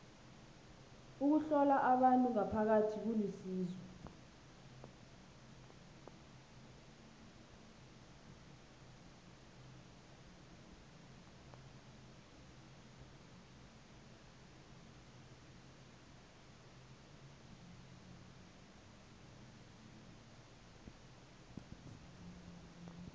ukuhlola abantu ngaphakathi kulisizo